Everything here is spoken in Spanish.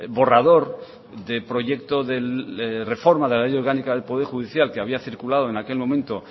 borrador de proyecto de reforma de la ley orgánica del poder judicial que había circulado en aquel momento